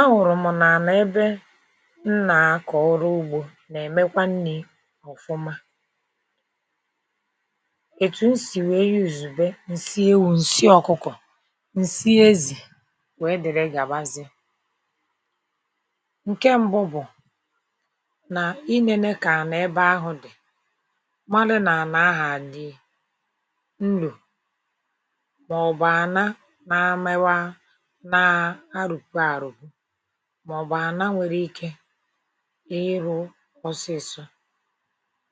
A hụrụ m n'ana ebe m na-akọ ọrụ ugbo na-emekwa nni ọfụma. Etu m si wee yuzube nsị ewu, nsị ọkụkọ, nsị ezi wdg. Nke mbụ bụ na i nene ka ana ebe ahụ dị marụ ma ana ahụ a dị nrò maọbụ ana na-emewa na-arụpu arụpu maọbụ ana nwere ike ịrụ ọsịsọ.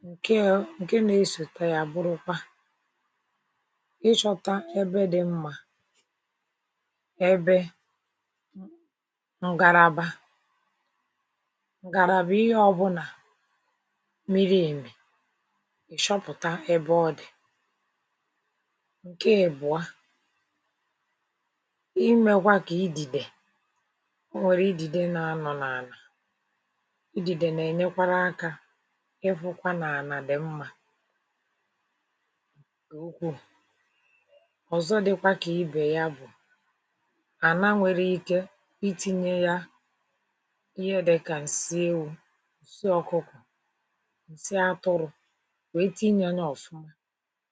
Nke e nke na-esote ya a bụrụkwa ịchọta ebe dị mma ebe n ngaraba ngaraba ihe ọbụna miri emi ị chọpụta ebe ọ dị. Nke ị́bụa, i mekwa ka ídìdè o nwere ídìdè na-anọ n'ana. Ídìdè na-enyekwara aka ịfụkwa na ana dị mma. Ọzọ dịkwa ka ibe ya bụ ana nwere ike itinye ya ihe dịka nsị ewu, nsị ọkụkọ, nsị atụrụ wee tiinya nya ọfụma.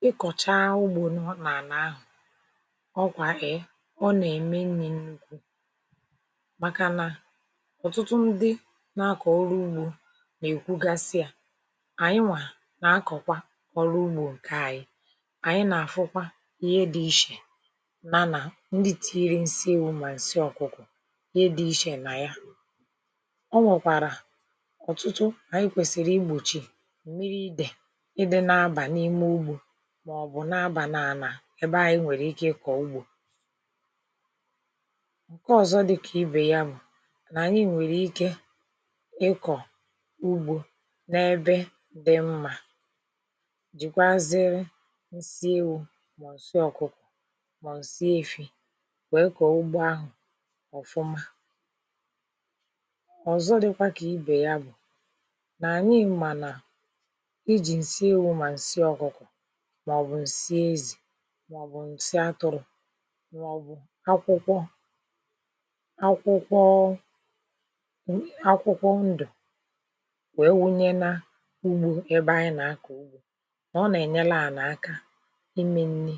Ị́ kọchaa ugbo nọ n'ana ahụ, ọ kwa ee ọ na-eme nni nnukwu makana ọtụtụ ndị na-akọ ọrụ ugbo na-ekwugasị ya. Ayịnwa na-akọkwa ọrụ ugbo nke ayị. Anyị na-afụkwa ihe dị iche yana ndị tiiri nsị ewu na nsị ọkụkọ, ihe dị iche na ya. O nwekwara ọtụtụ anyị kwesịrị igbochi, mmiri ídè. Íde na-aba n'ime ugbo maọbụ na-aba n'ana ebe ayị nwere ike ịkọ ugbo. Nke ọzọ dị ka ibe ya bụ na anyị nwere ike ịkọ ugbo n'ebe dị mma, jikwuazịrị nsị ewu ma ọ nsị ọkụkọ ma ọ nsị efi wee kọọ ugbo ahụ ọfụma.. Ọzọ dịkwa ka ibe ya bụ na anyị ma na iji nsị ewu ma nsị ọkụkọ maọbụ nsị ezi maọbụ nsị atụrụ maọbụ akwụkwọ akwụkwọọ akwụkwọ ndụ wee. Wụnye na ugbo ebe anyị na-akọ ugbo na ọ na-enyele ana aka ime nni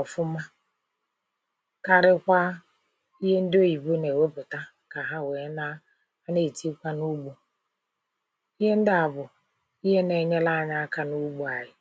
ọfụma karịkwaa ihe ndị oyibo na-ewepụta ka ha wee na na-etinyekwa n'ugbo. Ihe ndị a bụ ihe na-enyele anyị aka n'ugbo anyị.